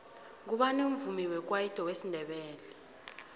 ngubani umvumi wekwayito wesindebele